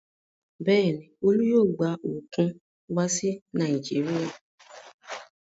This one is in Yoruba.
Bẹ́ẹ̀ ni, Olú yóò gba òkun wá sí Nàìjíríà.